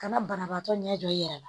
Kana banabaatɔ ɲɛ jɔ i yɛrɛ la